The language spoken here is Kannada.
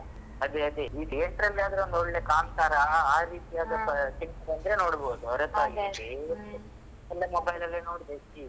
ಅದೇ ಅದೇ ಈ theatre ಲ್ಲಾದ್ರೆ ಒಳ್ಳೆ ಕಾಂತಾರ ಆ ರೀತಿ ಅದು film ಬಂದ್ರೆ ನೋಡಬಹುದು ಹೊರತಾಗಿ ಈಗ mobile ಅಲ್ಲಿ ನೋಡಬೋದು ಈಗ.